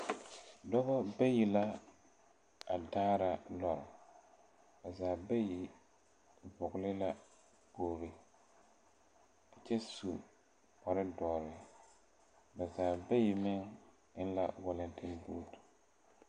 Dɔbɔ bayi la a daara lɔre ba zaa bayi vɔgle la kpogle kyɛ su kparedɔre ba zaa bayi meŋ eŋ la walaŋtenbuute.